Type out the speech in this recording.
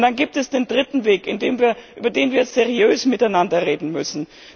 Und dann gibt es den dritten Weg, über den wir seriös miteinander reden müssen.